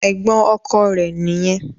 Ẹ̀gbọ́n ọkọ rẹ̀ nìyẹn.